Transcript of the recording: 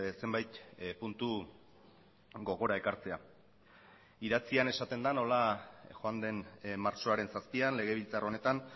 zenbait puntu gogora ekartzea idatzian esaten da nola joan den martxoaren zazpian legebiltzar honetan